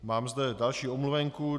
Mám zde další omluvenku.